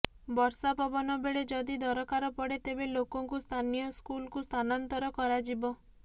ବର୍ଷା ପବନ ବେଳେ ଯଦି ଦରକାର ପଡେ ତେବେ ଲୋକଙ୍କୁ ସ୍ଥାନୀୟ ସ୍କୁଲକୁ ସ୍ଥାନାନ୍ତର କରାଯିବ